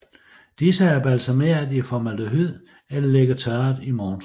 Disse er balsameret i formaldehyd eller ligger tørret i montre